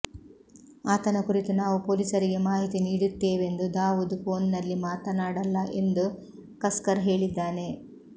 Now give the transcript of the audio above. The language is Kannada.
ಆತನ ಕುರಿತು ನಾವು ಪೊಲೀಸರಿಗೆ ಮಾಹಿತಿ ನೀಡುತ್ತೇವೆಂದು ದಾವೂದ್ ಫೋನ್ನಲ್ಲಿ ಮಾತನಾಡಲ್ಲ ಎಂದು ಕಸ್ಕರ್ ಹೇಳಿದ್ದಾನೆ